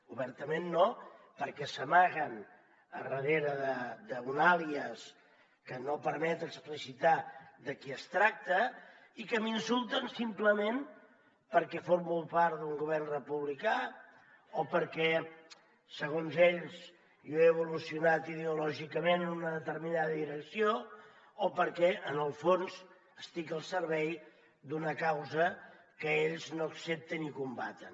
obertament no perquè s’amaguen darrere d’un àlies que no permet explicitar de qui es tracta i que m’insulten simplement perquè formo part d’un govern republicà o perquè segons ells jo he evolucionat ideològicament en una determinada direcció o perquè en el fons estic al servei d’una causa que ells no accepten i combaten